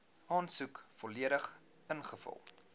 aansoek volledig ingevul